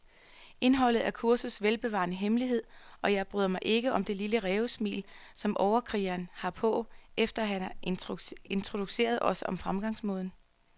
Indholdet er kursets velbevarede hemmelighed, og jeg bryder mig ikke om det lille rævesmil, som overkrigeren har på, efter han har introduceret os om fremgangsmåden.